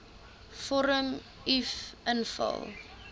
vorm uf invul